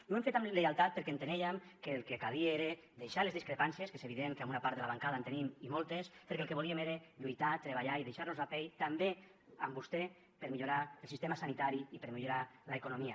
i ho hem fet amb lleialtat perquè enteníem que el que calia era deixar les discrepàncies que és evident que amb una part de la bancada en tenim i moltes perquè el que volíem era lluitar treballar i deixar nos la pell també amb vostè per millorar el sistema sanitari i per millorar l’economia